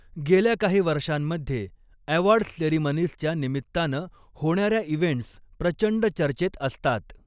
गेल्या काही वर्षांमध्ये ऍवॉर्डस् सेरीमनीजच्या निमित्तानं होणाऱ्या इव्हेंटस् प्रचंड चर्चेत असतात.